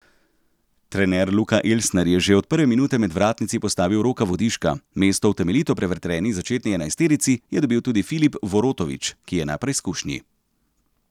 Trener Luka Elsner je že od prve minute med vratnici postavil Roka Vodiška, mesto v temeljito prevetreni začetni enajsterici je dobil tudi Filip Vorotović, ki je na preizkušnji.